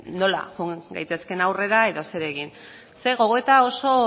nola joan gaitezken aurrera edo zer egin ze gogoeta